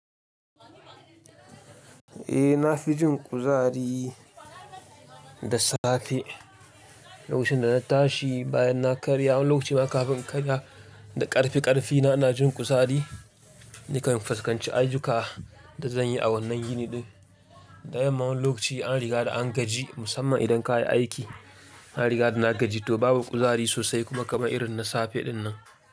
Eh na fi jin kuzari da safe. Lokacin da na tashi bayan na karya, wani lokaci ma kafin karya da ƙarfi-ƙarfi na, ina jin kuzari nakan fuskanci ayyukan da zan yi a wannan yini ɗin. Wani lokaci an riga da an gaji musamman idan ka yi aiki. An riga da na gaji to babu kuzari sosai kuma kamar irin na safe ɗin nan.